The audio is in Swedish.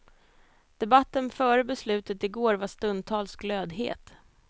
Debatten före beslutet i går var stundtals glödhet.